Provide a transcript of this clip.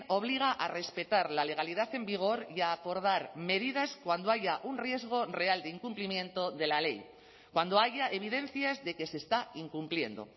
obliga a respetar la legalidad en vigor y a acordar medidas cuando haya un riesgo real de incumplimiento de la ley cuando haya evidencias de que se está incumpliendo